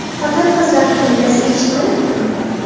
Xotin-qizlar qo‘mitasi eshitmayaptimi?.